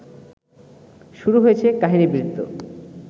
শুরু হয়েছে কাহিনীবৃত্ত